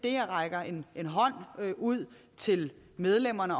jeg rækker en hånd ud til medlemmerne